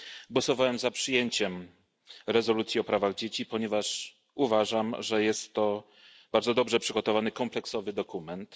Głosowałem za przyjęciem rezolucji o prawach dzieci, ponieważ uważam, że jest to bardzo dobrze przygotowany, kompleksowy dokument.